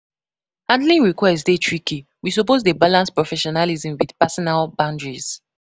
Handling requests dey tricky; we suppose dey balance professionalism with personal boundaries.